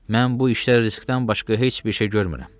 Mən bu işdə riskdən başqa heç bir şey görmürəm.